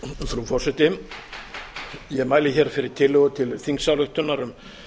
frú forseti ég mæli hér fyrir tillögu til þingsályktunar um